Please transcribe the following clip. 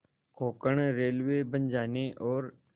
Konkan railway बन जाने और